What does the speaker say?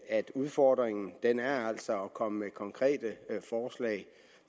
at udfordringen altså er at komme med konkrete forslag